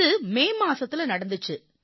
இது மே மாதத்தில நடந்திச்சு